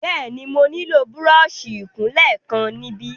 Bẹ́ẹ̀ni, mo nílò búrọ́ọ̀ṣì ìkunlé kan níbí.